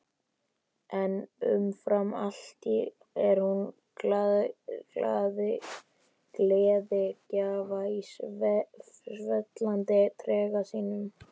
En umfram allt er hún gleðigjafi í svellandi trega sínum.